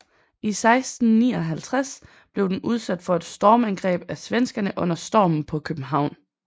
I 1659 blev den udsat for et stormangreb af svenskerne under Stormen på København